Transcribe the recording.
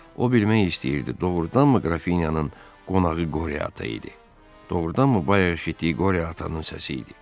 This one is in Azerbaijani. O bilmək istəyirdi, doğrudanmı Qrafinyanın qonağı Qoreata idi, doğrudanmı bayaq eşitdiyi Qoreatanın səsi idi?